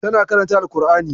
Tana karanta ƙur'ani.